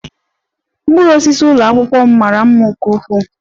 Mkpụrụ osisi ụlọ akwụkwọ m mara mma nke ukwuu